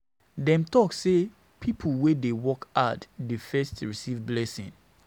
Dem tok sey na pipo wey dey work hard dey first receive blessing.